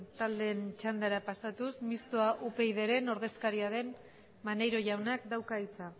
taldeen txandara pasatuz mistoa upydren ordezkariaren maneiro jaunak dauka hitza